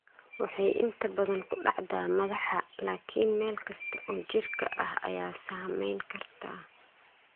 Waxay inta badan ku dhacdaa madaxa, laakiin meel kasta oo jidhka ah ayaa saameyn karta.